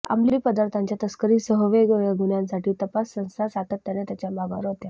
अंमली पदार्थांच्या तस्करीसह वेगवेगळ्या गुन्ह्यांसाठी तपास संस्था सातत्याने त्याच्या मागावर होत्या